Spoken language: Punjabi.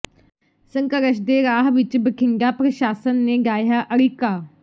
ਸੰਘਰਸ਼ ਦੇ ਰਾਹ ਵਿੱਚ ਬਠਿੰਡਾ ਪ੍ਰਸ਼ਾਸਨ ਨੇ ਡਾਹਿਆ ਅੜਿੱਕਾ